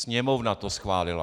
Sněmovna to schválila.